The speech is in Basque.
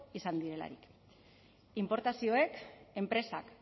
izan direlarik inportazioek enpresak